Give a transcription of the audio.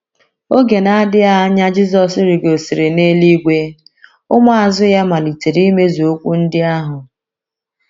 Oge na - adịghị anya Jizọs rigosịrị n’eluigwe, ụmụazu ya malitere imezu okwu ndị ahụ.